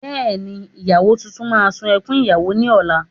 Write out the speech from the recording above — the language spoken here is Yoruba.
Bẹ́ẹ̀ni, ìyàwó tuntun máa ṣun ẹkún ìyàwó ní ọ̀la